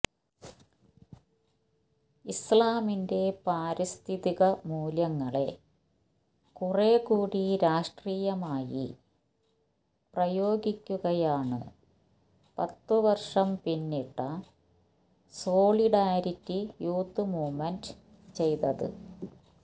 ഇസ്ലാമിന്റെ പാരിസ്ഥിതിക മൂല്യങ്ങളെ കുറെക്കൂടി രാഷ്ട്രീയമായി പ്രയോഗിക്കുകയാണ് പത്ത്വര്ഷം പിന്നിട്ട സോളിഡാരിറ്റി യൂത്ത്മൂവ്മെന്റ് ചെയ്തത്